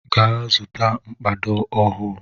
Gaa zụta mkpado ọhụụ!